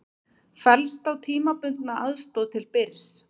Fellst á tímabundna aðstoð til Byrs